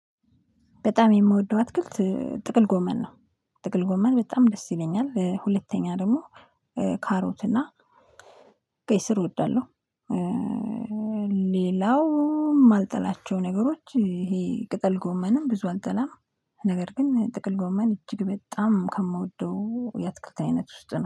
በጣም የምወደው አትክልት ጥቅል ጎመን ነው። ጥቅል ጎመን በጣም ደስ ይለኛል። ሁለተኛ ደግሞ ካሮትና ቀይ ስር እወዳለሁ። ሌላው የማልጠላቸው ነገሮች ይሄ ቅጠል ጎመንም ብዙ አልጠላም። ነገር ግን ጥቅል ጎመን እጅግ በጣም ከምወደው የትክክል አይነት ውስጥ ነው